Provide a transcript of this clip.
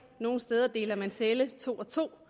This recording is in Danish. nogle steder deler man celle to og to